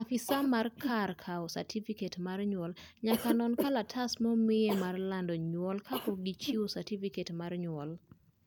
afisa mar kar kao sertifiket mar nyuol nyaka non kalatas momiye mar lando nyuol kapok gichiwo satifiket mar nyuol